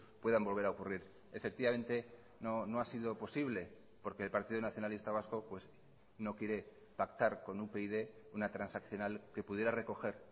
puedan volver a ocurrir efectivamente no ha sido posible porque el partido nacionalista vasco no quiere pactar con upyd una transaccional que pudiera recoger